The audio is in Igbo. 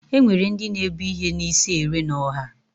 Enwere ndị na-ebu ihe n'isi ere n'ọha.